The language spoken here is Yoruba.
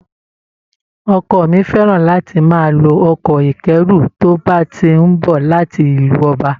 Ọkọ mi fẹ́ràn láti máa lo ọkọ̀ ìkẹ́rú tó bá ti ń bọ̀ láti ìlú ọba